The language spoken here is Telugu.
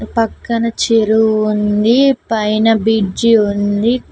పక్కన చెరువు ఉంది పైన బిడ్జి ఉంది.